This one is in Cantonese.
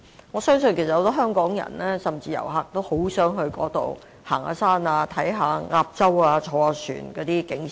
我相信很多香港人甚至遊客也很想前往該處遠足、遊覽鴨洲或乘船欣賞景色。